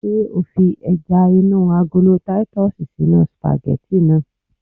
Ṣé o fi ẹja inú agolo titus sínú sìpàgẹ́tì náà?